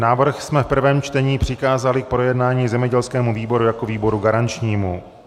Návrh jsme v prvém čtení přikázali k projednání zemědělskému výboru jako výboru garančnímu.